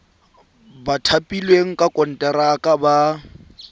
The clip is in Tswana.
ba thapilweng ka konteraka ba